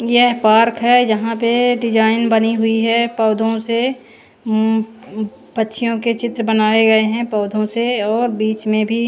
यह पार्क है जहां पे डिजाइन बनी हुई है पौधों से उम पक्षियों के चित्र बनाए गए हैं पौधों से और बीच में भी--